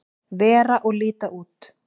vera og líta út.